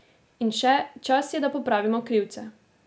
In še: 'Čas je, da popravimo krivice.